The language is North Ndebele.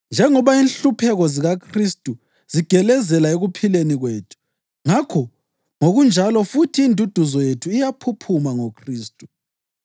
Njengoba inhlupheko zikaKhristu zigelezela ekuphileni kwethu, ngakho ngokunjalo futhi induduzo yethu iyaphuphuma ngoKhristu.